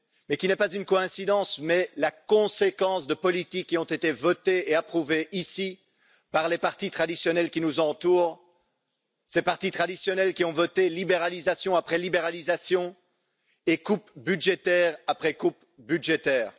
Ce n'est pas une coïncidence mais la conséquence de politiques qui ont été votées et approuvées ici par les partis traditionnels qui nous entourent, ces partis traditionnels qui ont voté libéralisation après libéralisation et coupes budgétaires après coupes budgétaires.